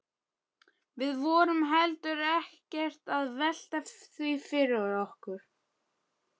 Við vorum heldur ekkert að velta því fyrir okkur.